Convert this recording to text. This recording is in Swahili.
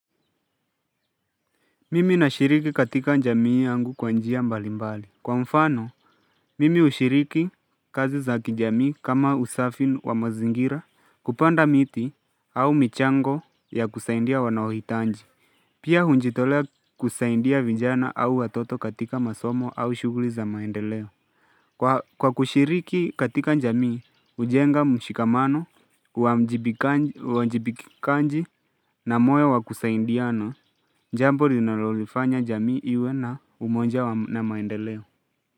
Mimi nashiriki katika njamii yangu kwa njia mbali mbali. Kwa mfano, mimi ushiriki kazi za kijamii kama usafi wa mazingira kupanda miti au michango ya kusaindia wanaohitanji. Pia hunjitolea kusaindia vijana au watoto katika masomo au shuguli za maendeleo. Kwa kushiriki katika njamii, ujenga mshikamano, uwa mjibikanji na moyo wa kusaindiana, njambo rinalolifanya jamii iwe na umoja na maendeleo.